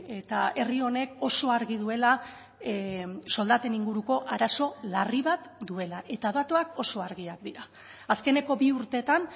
eta herri honek oso argi duela soldaten inguruko arazo larri bat duela eta datuak oso argiak dira azkeneko bi urteetan